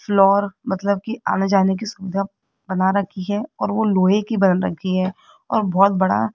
floor मतलब की आने जाने की सुविधा बना रखी है और वो लोहे की बन रखी है और बहोत बड़ा --